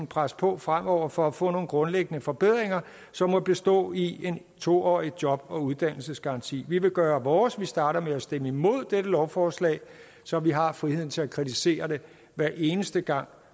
presse på fremover for at få nogle grundlæggende forbedringer som må bestå i en to årig job og uddannelsesgaranti vi vil gøre vores vi starter med at stemme imod dette lovforslag så vi har friheden til at kritisere det hver eneste gang